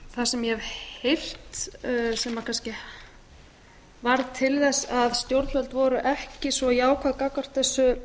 það sem ég hef heyrt sem kannski varð til þess að stjórnvöld voru ekki svo jákvæð gagnvart þessu